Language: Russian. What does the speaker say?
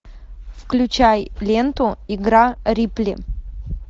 включай ленту игра рипли